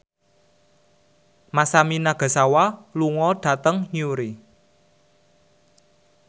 Masami Nagasawa lunga dhateng Newry